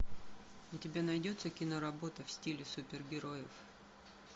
у тебя найдется киноработа в стиле супергероев